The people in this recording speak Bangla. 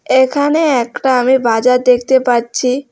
এখানে একটা আমি বাজার দেখতে পাচ্ছি।